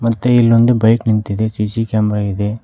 ಮತ್ತೆ ಇಲ್ಲೊಂದು ಬೈಕ್ ನಿಂತಿದೆ ಸಿ_ಸಿ ಕ್ಯಾಮೆರಾ ಇದೆ.